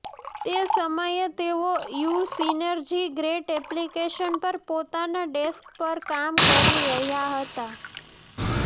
તે સમયે તેઓ ઇયુ સિનર્જી ગ્રેટ એપ્લીકેશન પર પોતાના ડેસ્ક પર કામ કરી રહ્યા હતા